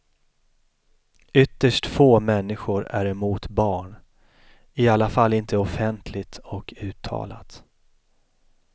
Ytterst få människor är emot barn, i alla fall inte offentligt och uttalat.